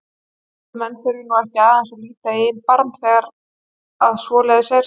Ætli menn þurfi nú ekki aðeins að líta í eigin barm þegar að svoleiðis er?